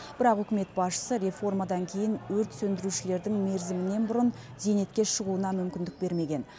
бірақ үкімет басшысы реформадан кейін өрт сөндірушілердің мерзімінен бұрын зейнетке шығуына мүмкіндік бермеген